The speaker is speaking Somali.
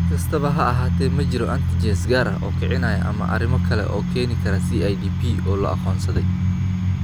Si kastaba ha ahaatee, ma jiro antigens gaar ah oo kicinaya ama arrimo kale oo keeni kara CIDP oo la aqoonsaday.